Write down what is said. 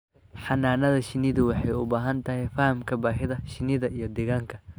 Xannaanada shinnidu waxay u baahan tahay fahamka baahida shinnida iyo deegaanka.